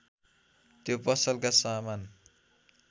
त्यो पसलका सामान